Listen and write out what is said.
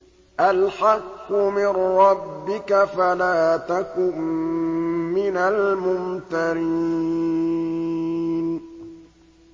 الْحَقُّ مِن رَّبِّكَ فَلَا تَكُن مِّنَ الْمُمْتَرِينَ